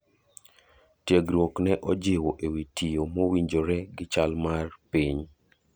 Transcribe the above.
Tiegruok ne ojiwo e wi tiyo mowinjore gi chal mar piny.